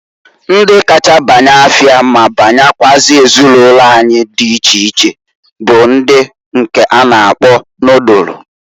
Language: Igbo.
Ndi kacha banya afịa ma banyekwuazị ezinụlo anyị di iche iche bụ ndi nke a na akpọ nodulu.